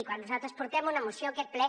quan nosaltres portem una moció a aquest ple